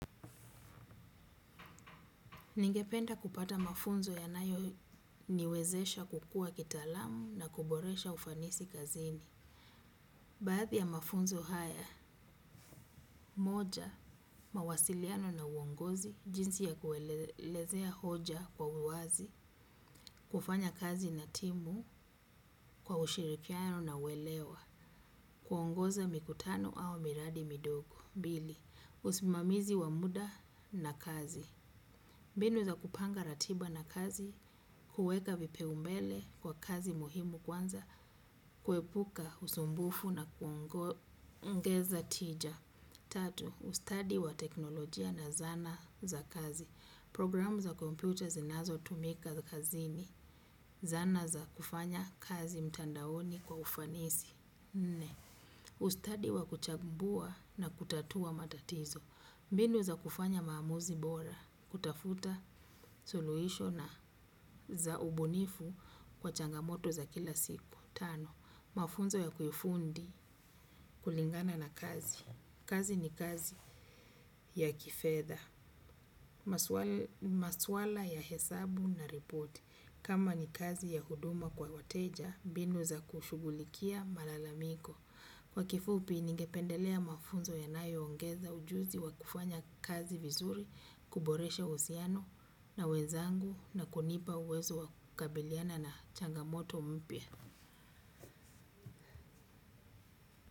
Ningependa kupata mafunzo ya nayo niwezesha kukua kitaalamu na kuboresha ufanisi kazini. Baadhi ya mafunzo haya, moja, mawasiliano na uongozi, jinsi ya kuelezea hoja kwa uwazi, kufanya kazi na timu, kwa ushirikiano na uelewa, kuongoza mikutano au miradi midogo. Mbili usimamizi wa muda na kazi mbinu za kupanga ratiba na kazi, kuweka vipeumbele kwa kazi muhimu kwanza, kuepuka usumbufu na kuongeza tija. Tatu, ustadi wa teknolojia na zana za kazi. Programu za kompyuta zinazotumika kazini. Zana za kufanya kazi mtandaoni kwa ufanisi. Nne, ustadi wa kuchambua na kutatua matatizo. Mbinu za kufanya maamuzi bora, kutafuta suluhisho na za ubunifu kwa changamoto za kila siku. Tano, mafunzo ya kiufundi kulingana na kazi. Kazi ni kazi ya kifedha maswala ya hesabu na ripoti kama ni kazi ya huduma kwa wateja, mbinu za kushughulikia malalamiko. Kwa kifupi ningependelea mafunzo yanayoongeza ujuzi wa kufanya kazi vizuri kuboresha uhusiano na wenzangu na kunipa uwezo wa kukabiliana na changamoto mpya.